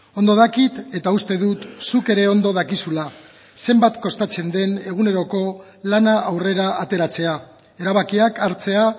ondo dakit eta uste dut zuk ere ondo dakizula zenbat kostatzen den eguneroko lana aurrera ateratzea erabakiak hartzea